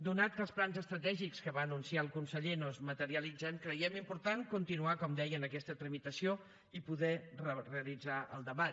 atès que els plans estratègics que va anunciar el conseller no es materialitzen creiem important continuar com deia amb aquesta tramitació i poder realitzar el debat